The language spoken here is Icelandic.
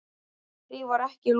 En því var ekki lokið.